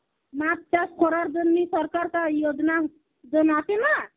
মাছ চাষ করার জন্নি সরকার তাই যোজনা যেমন আছে না